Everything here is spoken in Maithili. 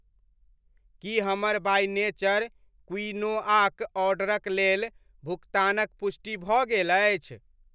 की हमर बाय नेचर क्विनोआक ऑर्डरक लेल भुकतानक पुष्टि भऽ गेल अछि?